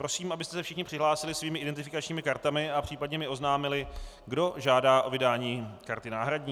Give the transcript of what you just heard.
Prosím, abyste se všichni přihlásili svými identifikačními kartami a případně mi oznámili, kdo žádá o vydání karty náhradní.